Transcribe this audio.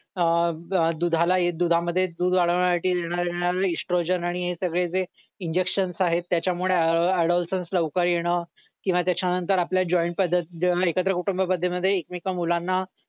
अह अह दुधाला हे दुधामध्ये दूध वाढवण्यासाठी देण्यात येणारे इस्ट्रोजन आणि हे सगळं जे इंजेक्शन्स आहेत त्याच्यामुळे अडोसन्स लवकर ये न किंवा त्याच्या नंतर आपल्या जॉईंट पद्धत जेव्हा एकत्र कुटुंब पद्धतीमध्ये एकमेका मुलांना